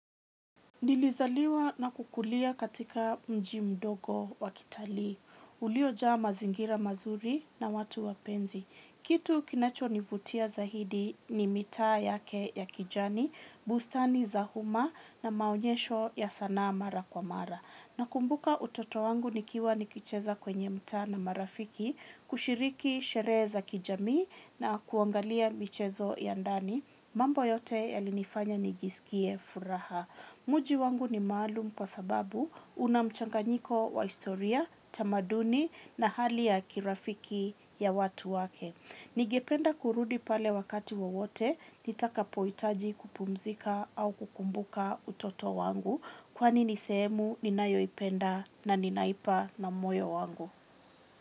Nilizaliwa na kukulia katika mji mdogo wa kitalii. Ulio jaa mazingira mazuri na watu wapenzi. Kitu kinacho nivutia zaidi ni mitaa yake ya kijani, bustani za umma na maonyesho ya sanaa mara kwa mara. Nakumbuka utoto wangu nikiwa nikicheza kwenye mtaa na marafiki, kushiriki sherehe za kijamii na kuangalia michezo ya ndani, mambo yote yalinifanya nijisikie furaha. Mji wangu ni maalum kwa sababu una mchanganyiko wa historia, tamaduni na hali ya kirafiki ya watu wake. Ningependa kurudi pale wakati wowote nitakapohitaji kupumzika au kukumbuka utoto wangu kwani ni sehemu ninayoipenda na ninaipa na moyo wangu.